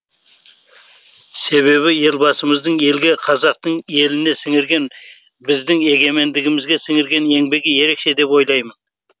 себебі елбасымыздың елге қазақтың еліне сіңірген біздің егемендігімізге сіңірген еңбегі ерекше деп ойлаймын